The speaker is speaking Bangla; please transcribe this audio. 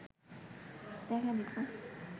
দেখা দিত